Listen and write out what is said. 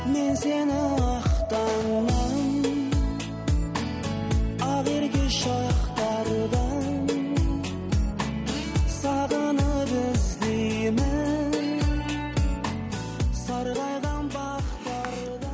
мен сені ақ таңнан ақ ерке шақтардан сағынып іздеймін сарғайған